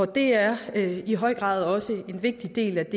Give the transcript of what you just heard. det er i høj grad en vigtig del af